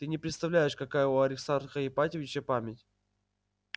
ты не представляешь какая у аристарха ипатьевича память